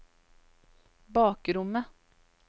bakrommet